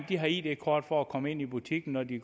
har id kort for at komme ind i butikken når de